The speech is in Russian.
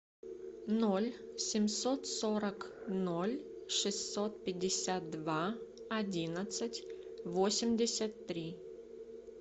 ноль семьсот сорок ноль шестьсот пятьдесят два одиннадцать восемьдесят три